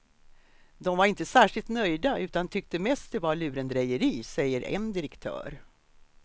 De var inte särskilt nöjda utan tyckte mest det var lurendrejeri, säger en direktör.